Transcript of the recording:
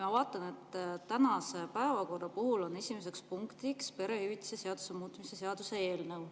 Ma vaatan, et tänase päevakorra esimeseks punktiks on perehüvitiste seaduse muutmise seaduse eelnõu.